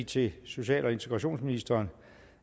til social og integrationsministeren